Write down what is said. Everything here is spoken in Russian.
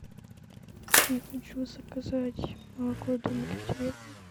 я хочу заказать молоко домик в деревне